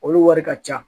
Olu wari ka ca